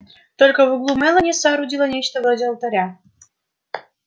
только в углу мелани соорудила нечто вроде алтаря